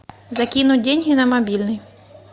закинуть деньги на мобильный